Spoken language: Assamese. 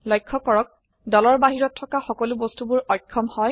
লক্ষ্য কৰক দলৰ বাহিৰত থকা সকলো বস্তুবোৰ অক্ষম হয়